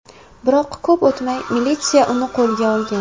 Biroq ko‘p o‘tmay militsiya uni qo‘lga olgan.